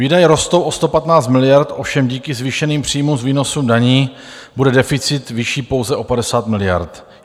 Výdaje rostou o 115 miliard, ovšem díky zvýšeným příjmům z výnosu daní bude deficit vyšší pouze o 50 miliard.